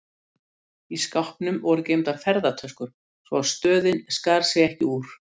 Í skápnum voru geymdar ferðatöskur, svo að stöðin skar sig ekki úr.